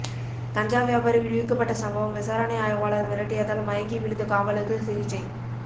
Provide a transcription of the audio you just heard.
கஞ்சா வியாபாரி விடுவிக்கப்பட்ட சம்பவம் விசாரணை ஆய்வாளர் மிரட்டியதால் மயங்கி விழுந்த காவலருக்கு சிகிச்சை